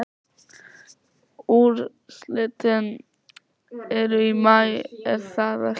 Úrslitin eru í maí er það ekki?